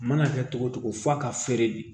A mana kɛ togo togo f'a ka feere bi